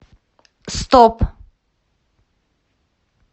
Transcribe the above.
стоп